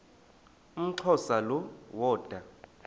umxhosa lo woda